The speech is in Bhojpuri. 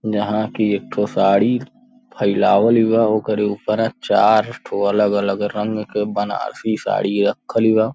जहां कि एक ठो साड़ी फईलवाल बा ओकरी ऊपरा चार ठो अलग-अलग रंग के बनारसी साड़ी रखली बा।